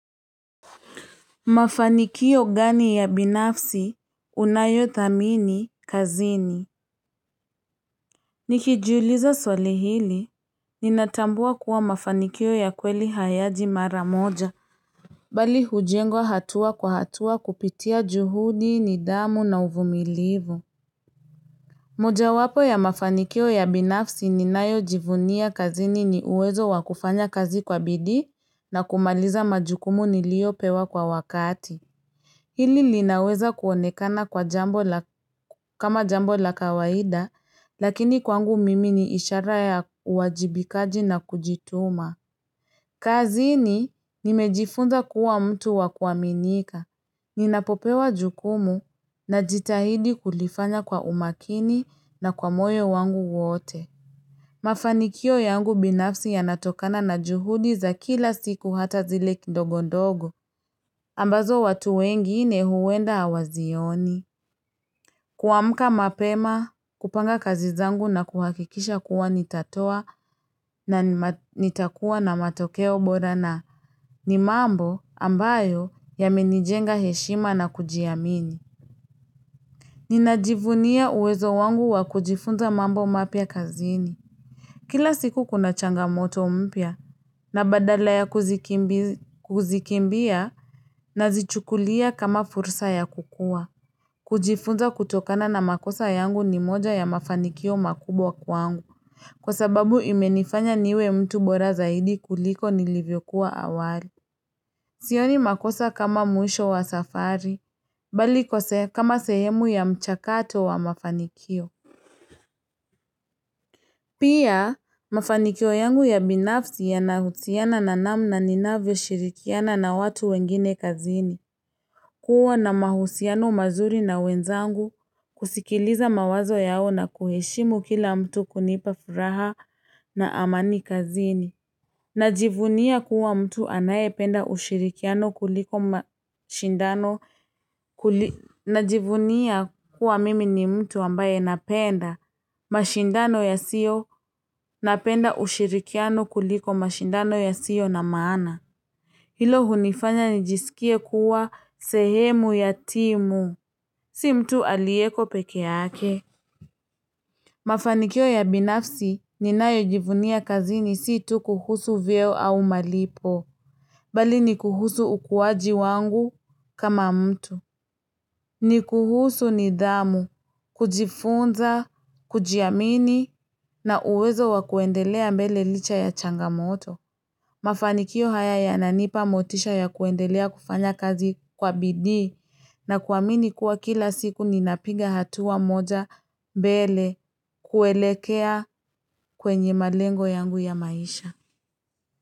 Mafanikio gani ya binafsi unayothamini kazini? Nikijiuliza swali hili, ninatambua kuwa mafanikio ya kweli hayaji mara moja. Bali hujengwa hatua kwa hatua kupitia juhudi, nidhamu na uvumilivu. Mojawapo ya mafanikio ya binafsi ninayojivunia kazini ni uwezo wa kufanya kazi kwa bidii na kumaliza majukumu niliyopewa kwa wakati. Hili linaweza kuonekana kama jambo la kawaida, lakini kwangu mimi ni ishara ya uwajibikaji na kujituma. Kazini, nimejifunza kuwa mtu wa kuaminika. Ninapopewa jukumu najitahidi kulifanya kwa umakini na kwa moyo wangu wote. Mafanikio yangu binafsi yanatokana na juhudi za kila siku hata zile kidogodogo. Ambazo watu wengine huenda hawazioni. Kuamka mapema, kupanga kazi zangu na kuhakikisha kuwa nitatoa na nitakuwa na matokeo bora na ni mambo ambayo yamenijenga heshima na kujiamini. Ninajivunia uwezo wangu wa kujifunza mambo mapya kazini. Kila siku kuna changamoto mpya na badala ya kuzikimbia nazichukulia kama fursa ya kukua. Kujifunza kutokana na makosa yangu ni moja ya mafanikio makubwa kwangu. Kwa sababu imenifanya niwe mtu bora zaidi kuliko nilivyokuwa awali. Sioni makosa kama mwisho wa safari, bali kwa kama sehemu ya mchakato wa mafanikio. Pia, mafanikio yangu ya binafsi yanahusiana na namna ninavyoshirikiana na watu wengine kazini. Kuwa na mahusiano mazuri na wenzangu, kusikiliza mawazo yao na kuheshimu kila mtu kunipa fursa na amani kazini. Najivunia kuwa mtu anayependa ushirikiano kuliko mashindano. Najivunia kuwa mimi ni mtu ambaye napenda mashindano yasiyo napenda ushirikiano kuliko mashindano yasiyo na maana. Hilo hunifanya nijisikie kuwa sehemu ya timu. Si mtu aliyeko peke yake. Mafanikio ya binafsi ninayojivunia kazini si tu kuhusu vyeo au malipo. Bali ni kuhusu ukuwaji wangu kama mtu. Ni kuhusu nidhamu, kujifunza, kujiamini na uwezo wa kuendelea mbele licha ya changamoto. Mafanikio haya yananipa motisha ya kuendelea kufanya kazi kwa bidii na kuamini kuwa kila siku ninapiga hatua moja mbele kuelekea kwenye malengo yangu ya maisha.